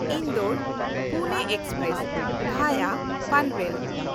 ᱤᱱᱫᱳᱨ–ᱯᱩᱱᱮ express (ᱵᱷᱟᱭᱟ Panvel)